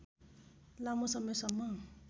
लामो समयसम्म